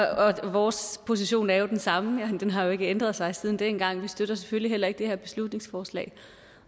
vores position er jo den samme den har ikke ændret sig siden dengang og vi støtter selvfølgelig heller ikke det her beslutningsforslag